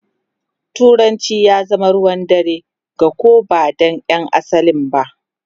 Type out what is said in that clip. Turanci ya zama ruwan dare ga ko da ba ’yan asalin ba.